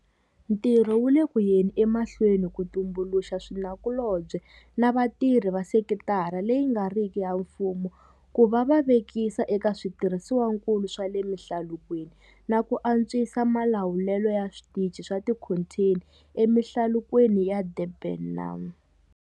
Ntirho wu le ku yeni emahlweni ku tumbuluxa swinakulobye na vatirhi va sekitara leyi nga riki ya mfumo ku va va vekisa eka switirhisiwakulu swa le mihlalukweni na ku antswisa malawulelo ya switichi swa tikhontheni emihlalukweni ya Durban na.